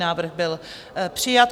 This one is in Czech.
Návrh byl přijat.